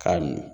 K'a n